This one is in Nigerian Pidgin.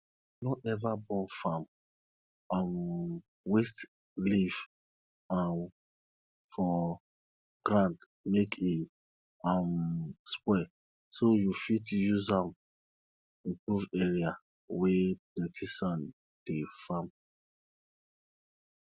no ever burn farm um waste leave um for ground make e um spoil so you fit use um improve area wey plenty sand dey farm